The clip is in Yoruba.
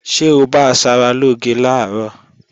Ṣé o bá asaralóge làárọ̀?